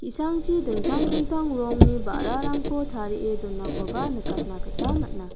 i·sangchi dingtang dingtang rongni ba·rarangko tarie donakoba nikatna gita man·a.